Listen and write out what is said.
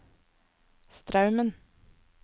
Straumen